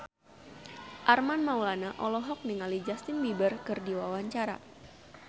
Armand Maulana olohok ningali Justin Beiber keur diwawancara